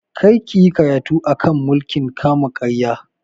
Kar ka yi karatu a kan mulkin kama karya!